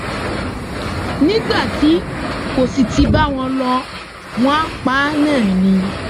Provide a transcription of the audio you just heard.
nígbà tí kò sì ti bá wọn lò wọn pa á náà ni